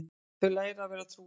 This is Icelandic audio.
Þau læra að vera trúðar